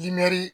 Imɛri